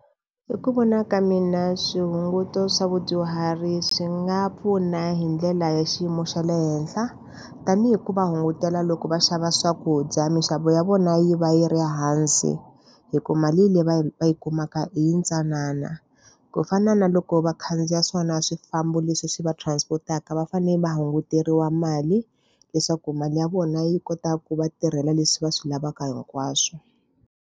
Hi ku vona ka mina swihunguto swa vadyuhari swi nga pfuna hi ndlela ya xiyimo xa le henhla. Tanihi ku va hungutela loko va xava swakudya, mixavo ya vona yi va yi ri hansi, hikuva mali leyi va yi va yi kumaka hi ntsanana. Ku fana na loko vakhandziya swona swifambo leswi swi va transport-aka va fanele va hunguteriwa mali, leswaku mali ya vona yi kota ku va tirhela leswi va swi lavaka hinkwaswo.